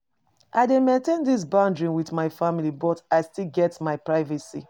I dey maintain di bond wit my family but I still get my privacy.